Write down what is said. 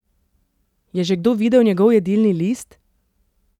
Je že kdo videl njegov jedilni list?